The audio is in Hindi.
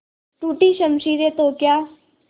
टूटी शमशीरें तो क्या